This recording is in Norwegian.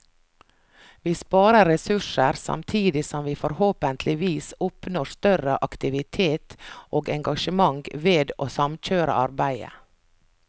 Vi sparer ressurser, samtidig som vi forhåpentligvis oppnår større aktivitet og engasjement ved å samkjøre arbeidet.